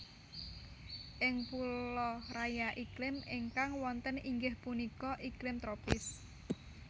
Ing pulo Raya iklim ingkang wonten inggih punika iklim tropis